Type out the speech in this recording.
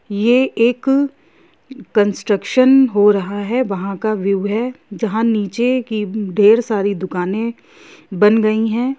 यह एक कंस्ट्रक्शन हो रहा है वहां का व्यू है जहां नीचे की ढेर सारी दुकाने बन रही है।